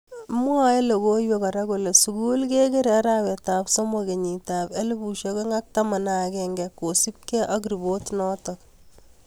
Mwae logoiwek kora kole sugul ko kikere arap somo kenyit ab ellebu aeng ak taman agenge kosub ke ak repotit notok.